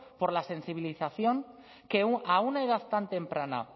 por la sensibilización que a una edad tan temprana